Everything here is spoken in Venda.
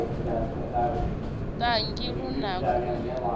thangi lu na ku u